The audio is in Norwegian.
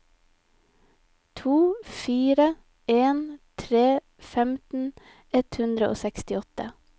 to fire en tre femten ett hundre og sekstiåtte